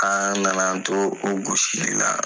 Aan nan'an to o gosili la